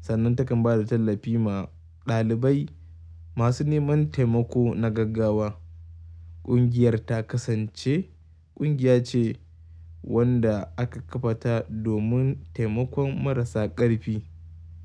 Sannan takan ba da tallafi ma ɗalibai masu neman taimako na gaggawa. Kungiyar ta kasance ƙungiya ce wanda aka kafa ta domin taimakon marasa ƙarfi.